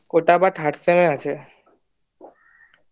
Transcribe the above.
ওটা আবার third sem এ আছে